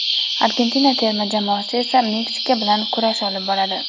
Argentina terma jamoasi esa Meksika bilan kurash olib boradi.